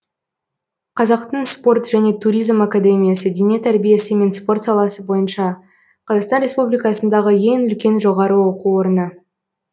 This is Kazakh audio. қазақтың спорт және туризм академиясы дене тәрбиесі мен спорт саласы бойынша қазақстан республикасындағы ең үлкен жоғары оқу орыны